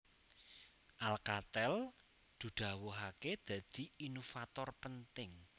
Alcatel dudawuhake dadi Inovator penting